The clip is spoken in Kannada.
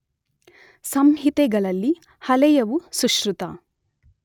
ಸಂಹಿತೆಗಳಲ್ಲಿ ಹಳೆಯವು ಸುಶ್ರುತ